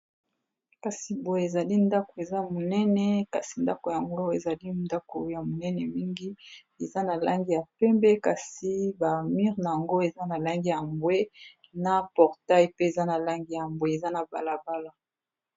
kasi boye ezali ndako eza monene kasi ndako yango ezali ndako ya monene mingi eza na langi ya pembe kasi bamure na yango eza na lange ya mbwe na portail pe eza na langi ya mbwe eza na balabala